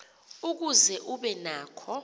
ukuze ube nako